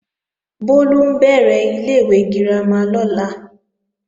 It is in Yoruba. Bólú ń bẹ̀rẹ̀ ilé-ìwé girama lọ́la